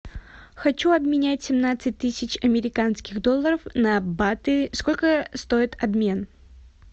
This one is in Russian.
хочу обменять семнадцать тысяч американских долларов на баты сколько стоит обмен